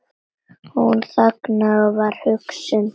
Hún þagði og var hugsi.